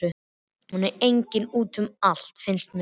Hún er eiginlega út um allt, finnst mér.